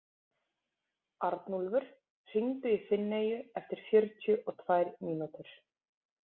Arnúlfur, hringdu í Finneyju eftir fjörutíu og tvær mínútur.